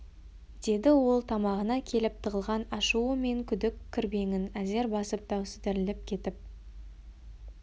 деді ол тамағына келіп тығылған ашуы мен күдік кірбеңін әзер басып даусы дірілдеп кетіп